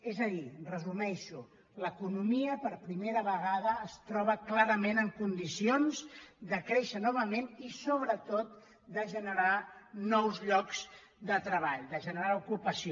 és a dir ho resumeixo l’economia per primera vegada es troba clarament en condicions de créixer novament i sobretot de generar nous llocs de treball de generar ocupació